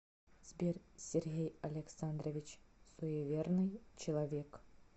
сбер сергей александрович суеверный человек